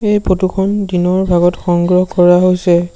এই ফটো খন দিনৰ ভাগত সংগ্ৰহ কৰা হৈছে।